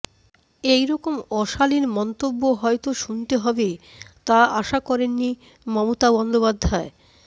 এইরকম অশালীন মন্তব্য হয়তো শুনতে হবে তা আশা করেননি মমতা বন্দ্যোপাধ্যায়